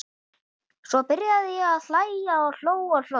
Svo byrjaði ég að hlæja og hló og hló.